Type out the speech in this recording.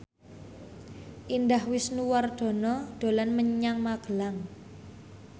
Indah Wisnuwardana dolan menyang Magelang